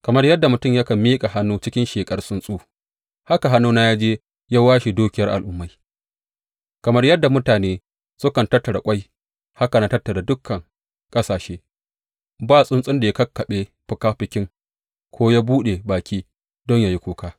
Kamar yadda mutum yakan miƙa hannu cikin sheƙar tsuntsu haka hannuna ya je ya washe dukiyar al’ummai; kamar yadda mutane sukan tattara ƙwai, haka na tattara dukan ƙasashe; ba tsuntsun da ya kakkaɓe fikafiki, ko yă buɗe baki don yă yi kuka.’